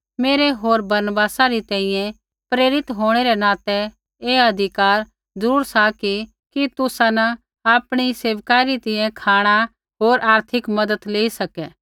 मेरै होर बरनबासा री तैंईंयैं प्रेरित होंणै रै नातै ऐ अधिकार ज़रूर सा कि तुसा न आपणी सेवकाई री तैंईंयैं खाँणा होर आर्थिक मज़त लेई सकै